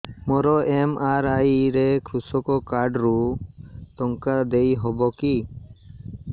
ମୋର ଏମ.ଆର.ଆଇ ରେ କୃଷକ କାର୍ଡ ରୁ ଟଙ୍କା ଦେଇ ହବ କି